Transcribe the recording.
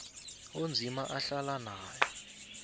onzima ahlala naye